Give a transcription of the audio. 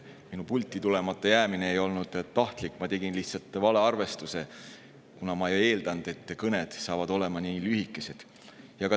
Minu pulti tulemata jäämine ei olnud tahtlik, ma tegin lihtsalt valearvestuse, ma ei eeldanud, et teie kõned on nii lühikesed.